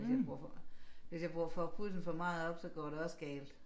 Hvis jeg bruger for hvis jeg bruger får pulsen for meget op går det også galt